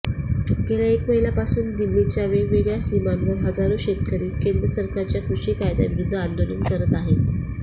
गेल्या एक महिन्यापासून दिल्लीच्या वेगवेगळ्या सीमांवर हजारो शेतकरी केंद्र सरकारच्या कृषी कायद्यांविरूद्ध आंदोलन करत आहेत